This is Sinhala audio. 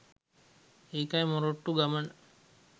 ඒකයි මොරටු ගමන